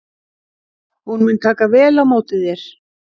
Hún mun taka vel á móti þér.